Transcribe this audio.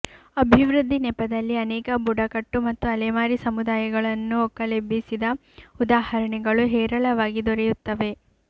ಅಭಿವೃದ್ಧಿ ನೆಪದಲ್ಲಿ ಅನೇಕ ಬುಡಕಟ್ಟು ಮತ್ತು ಅಲೆಮಾರಿ ಸಮುದಾಯಗಳನ್ನು ಒಕ್ಕಲೆಬ್ಬಿಸಿದ ಉದಾಹರಣೆಗಳು ಹೇರಳವಾಗಿ ದೊರೆಯುತ್ತವೆ